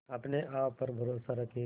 अपने आप पर भरोसा रखें